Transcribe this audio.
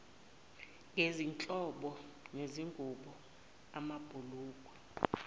ngezinhlobo zezingubo amabhulukwe